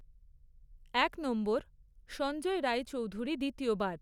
এক নম্বর, সঞ্জয় রায়চৌধুরী দ্বিতীয় বার